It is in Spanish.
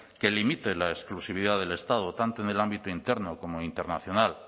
que limite la exclusividad del estado tanto en el ámbito interno como en el internacional